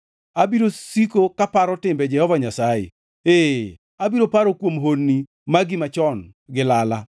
Abiro siko kaparo timbe Jehova Nyasaye; ee, abiro paro kuom honni magi machon gi lala.